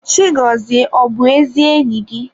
Chigozie ọ bụ ezi enyi gị?